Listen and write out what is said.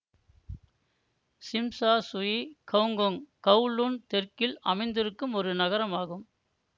sim Sha Tsui Hong Kong Kowloon தெற்கில் அமைந்திருக்கும் ஒரு நகரம் ஆகும்